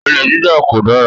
Olè jíjà kò dára